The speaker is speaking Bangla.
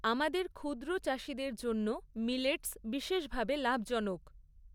আমাদের ক্ষুদ্র চাষিদের জন্য মিলেটস বিশেষভাবে লাভজনক।